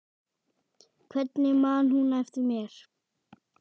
Hvernig man hún eftir mér?